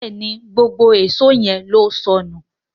Béèni gbógbó Èṣó yén ló sọnù.